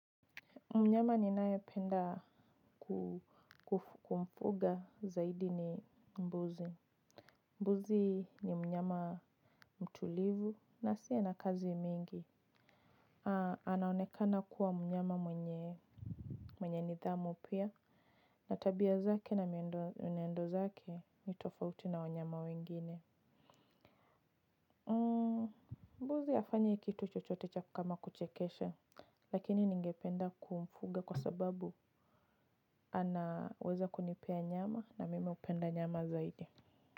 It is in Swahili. Penda kumfuga zaidi ni mbuzi. Mbuzi ni mnyama mtulivu na asie na kazi mingi. Anaonekana kuwa mnyama mwenye nidhamu pia na tabia zake na mienendo zake ni tofauti na wanyama wengine. Mbuzi hafanyi kitu chochote cha kama kuchekesha. Lakini ningependa kumfuga kwa sababu anaweza kunipea nyama na mimi hupenda nyama zaidi.